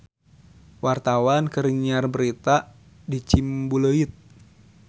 Wartawan keur nyiar berita di Ciumbuleuit